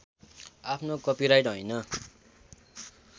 आफ्नो कपिराइट हैन